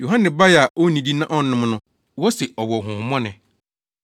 Yohane bae a onnidi na ɔnnom no, wose, ‘Ɔwɔ honhommɔne.’